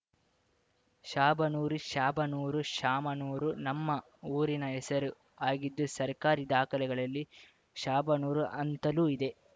ಶಾಬನೂರು ಶ್ಯಾಬನೂರು ಶಾಮನೂರು ನಮ್ಮ ಊರಿನ ಹೆಸರು ಆಗಿದ್ದು ಸರ್ಕಾರಿ ದಾಖಲೆಗಳಲ್ಲಿ ಶಾಬನೂರು ಅಂತಲೂ ಇದೆ